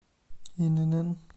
инн